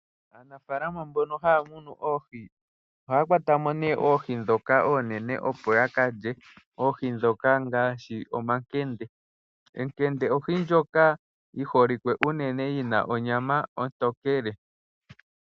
Aanafaalama mbono haya munu oohi ohaya kwata mo nee oohi dhoka oonene opo ya kalye oohi dhoka ngaashi omakende. Ekende ohi ndjoka yi holike unene yina onyama ontokele